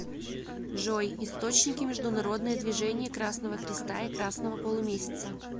джой источники международное движение красного креста и красного полумесяца